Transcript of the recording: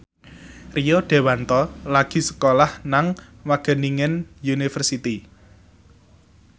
Rio Dewanto lagi sekolah nang Wageningen University